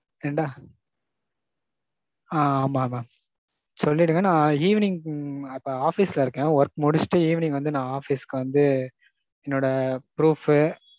ரெண்டா. ஆ ஆமாம் mam. சொல்லிடுங்க நான் evening இப்போ office ல இருக்கேன் work முடுச்சிட்டு evening வந்து நான் office க்கு வந்து என்னோட proof